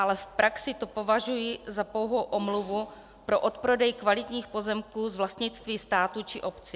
Ale v praxi to považuji za pouhou omluvu pro odprodej kvalitních pozemků z vlastnictví státu či obcí.